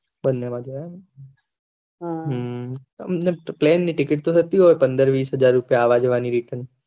બન્ને માં જવાયે પ્લેનની ટીકેટ તો જતી હોય પંદર વીસ હાજર રુપયા આવા જવા ની return